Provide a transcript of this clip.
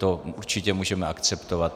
To určitě můžeme akceptovat.